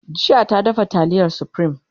jiya ta dafa taliyar supreme